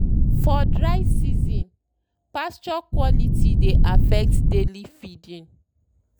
for dry seasonspasture quality dey affect daily feeding.